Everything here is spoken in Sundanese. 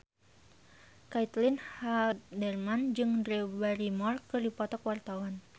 Caitlin Halderman jeung Drew Barrymore keur dipoto ku wartawan